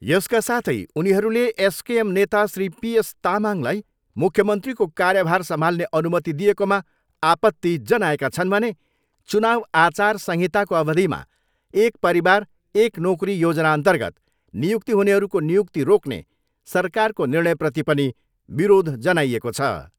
यसका साथै उनीहरूले एककेएम नेता श्री पी एस तामङलाई मुख्यमन्त्रीको कार्यभार सम्हाल्ने अनुमति दिएकोमा आपत्ति जनाएका छन् भने चुनाउ आचा संहिताको अवधिमा एक परिवार एक नोकरी योजनाअन्तर्गत नियुक्ति हुनेहरूको नियुक्ति रोक्ने सरकारको निर्णयप्रति पनि विरोध जनाइएको छ।